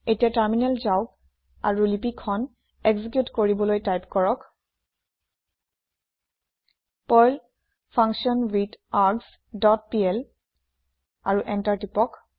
এতিয়া টাৰমিনেল যাওক আৰু লিপি খন একজিকিউট কৰিবলৈ টাইপ কৰক আৰু এন্টাৰ প্ৰেছ কৰক